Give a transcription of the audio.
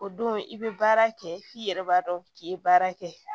O don i bɛ baara kɛ f'i yɛrɛ b'a dɔn k'i ye baara kɛ